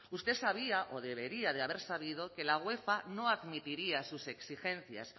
usted sabía o debería haber sabido que la uefa no admitiría sus exigencias